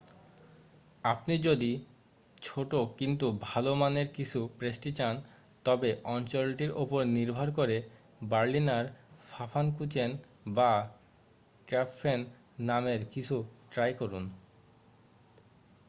আপনি যদি ছোট কিন্তু ভালো মানের কিছু পেস্ট্রি চান তবে অঞ্চলটির উপর নির্ভর করে বার্লিনার ফাফানকুচেন বা ক্র্যাপফেন নামের কিছু ট্রাই করুন